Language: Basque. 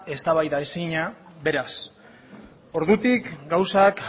eztabaidaezina beraz ordutik gauzak